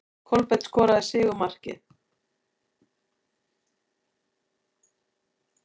Kolbeinn skorar sigurmarkið.